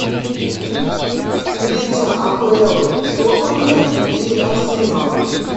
встреча апл тоттенхэм и арсенал